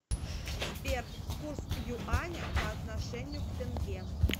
сбер курс юаня по отношению к тенге